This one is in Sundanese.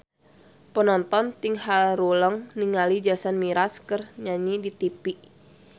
Panonton ting haruleng ningali Jason Mraz keur nyanyi di tipi